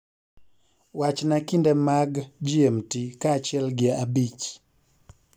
wachna kinde mag g.m.t. kaachiel gi abich